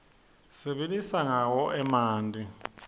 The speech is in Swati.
sibilisa rqawo emanti